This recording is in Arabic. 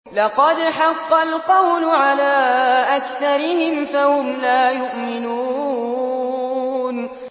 لَقَدْ حَقَّ الْقَوْلُ عَلَىٰ أَكْثَرِهِمْ فَهُمْ لَا يُؤْمِنُونَ